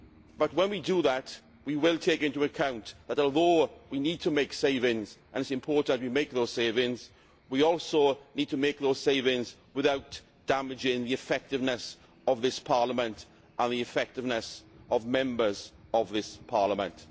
But when we do that, we will take into account that although we need to make savings, and it is important that we make those savings, we also need to make those savings without damaging the effectiveness of this Parliament and the effectiveness of Members of this Parliament.